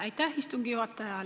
Aitäh, istungi juhataja!